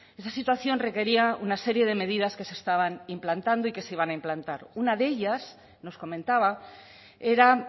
esa situación requería una serie de medidas que se estaban implantando y que se iban a implantar una de ellas nos comentaba era